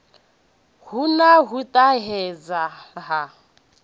hu na u ṱahedzwa ha